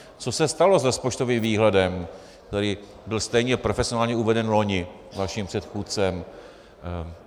Co se stalo s rozpočtovým výhledem, který byl stejně profesionálně uveden loni vaším předchůdcem?